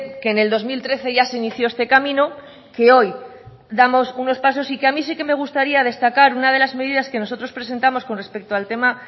que en el dos mil trece ya se inició este camino que hoy damos unos pasos y que a mí sí que me gustaría destacar una de las medidas que nosotros presentamos con respecto al tema